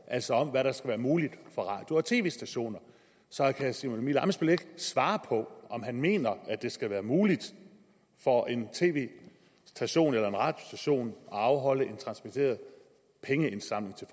altså om hvad der skal være muligt for radio og tv stationer så kan herre simon emil ammitzbøll ikke svare på om han mener at det skal være muligt for en tv station eller en radiostation at afholde en transmitteret pengeindsamling til